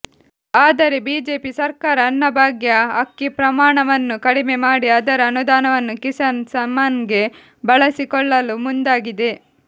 ಆದರೆ ಬಿಜೆಪಿ ಸರ್ಕಾರ ಅನ್ನಭಾಗ್ಯ ಅಕ್ಕಿ ಪ್ರಮಾಣವನ್ನು ಕಡಿಮೆ ಮಾಡಿ ಅದರ ಅನುದಾನವನ್ನು ಕಿಸಾನ್ ಸಮ್ಮಾನ್ ಗೆ ಬಳಸಿಕೊಳ್ಳಲು ಮುಂದಾಗಿದೆ